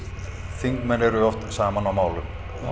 þingmenn eru oft saman á málum